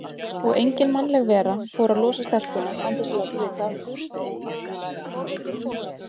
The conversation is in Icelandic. Og engin mannleg vera fór að losa stelpuna án þess að láta vita af því.